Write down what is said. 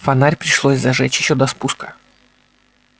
фонарь пришлось зажечь ещё до спуска